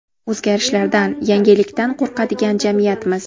O‘zgarishlardan, yangilikdan qo‘rqadigan jamiyatmiz.